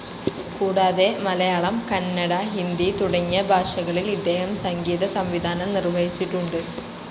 കൂടാതെ മലയാളം, കന്നട, ഹിന്ദി, തുടങ്ങിയ ഭാഷകളിൽ ഇദ്ദേഹം സംഗീത സംവിധാനം നിർവ്വഹിച്ചിട്ടുണ്ട്.